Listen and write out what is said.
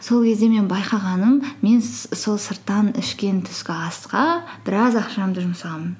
сол кезде мен байқағаным мен сол сырттан ішкен түскі асқа біраз ақшамды жұмсағанмын